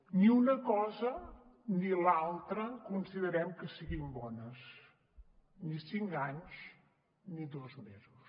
ni una cosa ni l’altra considerem que siguin bones ni cinc anys ni dos mesos